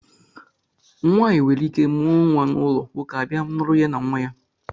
Nwaanyị nwereike mụọ nnwa n'ụlọ, nwoke abịa lụrụ ya na nnwa ya